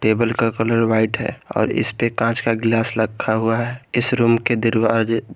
table का colour white है और इस पे कांच का गिलास रखा हुआ है इस रूम के दरवाजे--